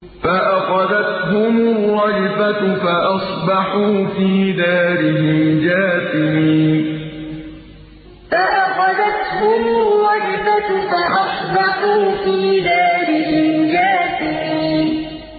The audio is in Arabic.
فَأَخَذَتْهُمُ الرَّجْفَةُ فَأَصْبَحُوا فِي دَارِهِمْ جَاثِمِينَ فَأَخَذَتْهُمُ الرَّجْفَةُ فَأَصْبَحُوا فِي دَارِهِمْ جَاثِمِينَ